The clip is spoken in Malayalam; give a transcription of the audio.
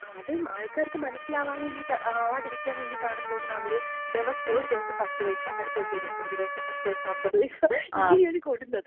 അത് ആൾക്കാർക്ക് മനസ്സിലാവാൻ, ആവാതിരിക്കാൻ വേണ്ടിട്ടാണെന്ന് തോന്നുന്നു, അവര് ദെവസോം, ഒരു ദെവസം 10 പൈസ അടുത്ത ദെവസം 25 പൈസ അടുത്ത ദെവസം 50 പൈസ ഇങ്ങനെയാണ് കൂടുന്നത്.